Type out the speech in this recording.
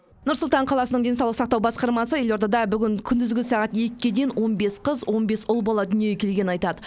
нұр сұлтан қаласының денсаулық сақтау басқармасы елордада бүгін күндізгі сағат екке дейін он бес қыз он бес ұл бала дүниеге келгенін айтады